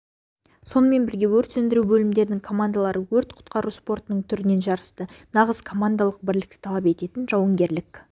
сонымен бірге өрт сөндіру бөлімдерінің командалары өрт-құтқару спортының түрінен жарысты нағыз командалық бірлікті талап ететін жауынгерлік